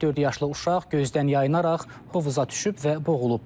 Dörd yaşlı uşaq gözdən yayınaraq hovuza düşüb və boğulub.